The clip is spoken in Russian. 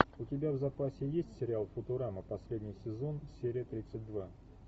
у тебя в запасе есть сериал футурама последний сезон серия тридцать два